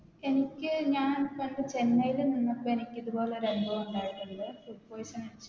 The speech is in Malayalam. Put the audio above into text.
എനിക്ക് ഞാൻ പണ്ട് ചെന്നൈയില് നിന്നപ്പോ എനിക്ക് ഇതുപോലൊരു അനുഭവം ഉണ്ടായിട്ടുണ്ട് Food poison അടിച്ച്